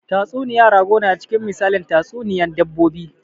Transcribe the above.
Tatsuniya rago na cikin misalin tatsuniyan dabbobi